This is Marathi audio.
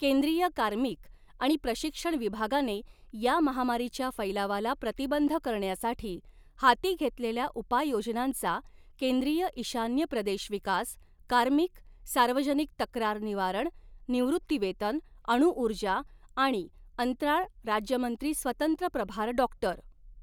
केंद्रीय कार्मिक आणि प्रशिक्षण विभागाने या महामारीच्या फैलावाला प्रतिबंध करण्यासाठी हाती घेतलेल्या उपाययोजनांचा केंद्रीय ईशान्य प्रदेश विकास, कार्मिक, सार्वजनिक तक्रार निवारण, निवृत्तीवेतन, अणुउर्जा आणि अंतराळ राज्यमंत्री स्वतंत्र प्रभार डॉक्टर.